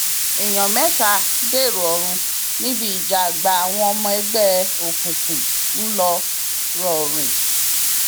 èèyàn mẹta dèrò ọrun níbi ìjà àgbà àwọn ọmọ ẹgbẹ òkùnkùn ńlọrọrìn